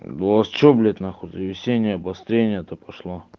у вас что блять на хуй за весеннее обострение то пошло